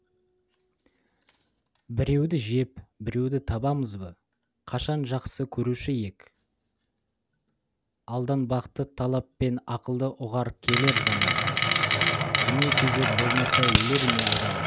біреуді жеп біреуді табамыз ба қашан жақсы көруші ек алданбақты талап пен ақылды ұғар келер заман дүние кезек болмаса өлер ме адам